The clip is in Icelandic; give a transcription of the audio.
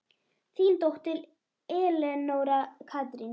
Þín dóttir, Elenóra Katrín.